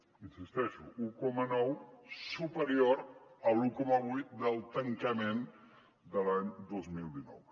hi insisteixo un coma nou superior a l’un coma vuit del tancament de l’any dos mil dinou